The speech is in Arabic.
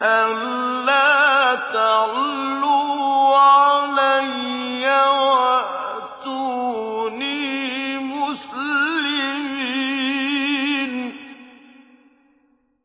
أَلَّا تَعْلُوا عَلَيَّ وَأْتُونِي مُسْلِمِينَ